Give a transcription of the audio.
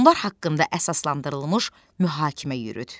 Onlar haqqında əsaslandırılmış mühakimə yürüt.